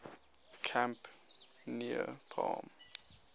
camp near palm